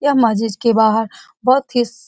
यह माचिस के बाहर बहुत ही --